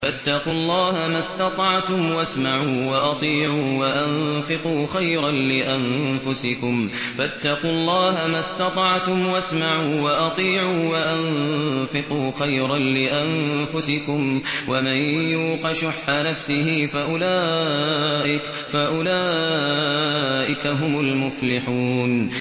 فَاتَّقُوا اللَّهَ مَا اسْتَطَعْتُمْ وَاسْمَعُوا وَأَطِيعُوا وَأَنفِقُوا خَيْرًا لِّأَنفُسِكُمْ ۗ وَمَن يُوقَ شُحَّ نَفْسِهِ فَأُولَٰئِكَ هُمُ الْمُفْلِحُونَ